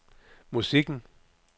musikken